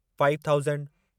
five thousand